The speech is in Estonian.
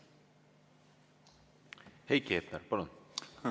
Heiki Hepner, palun!